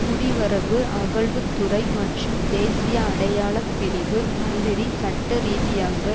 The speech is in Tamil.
குடிவரவு அகல்வு துறை மற்றும் தேசிய அடையாள பிரிவு மந்திரி சட்டரீதியாக